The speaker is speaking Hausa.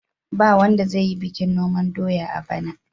Ba wanda zai yi bikin noman doya a bana.